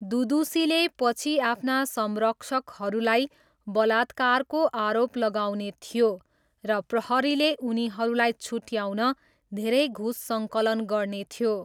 दुदुसीले पछि आफ्ना संरक्षकहरूलाई बलात्कारको आरोप लगाउने थियो र प्रहरीले उनीहरूलाई छुट्ट्याउन धेरै घुस सङ्कलन गर्ने थियो।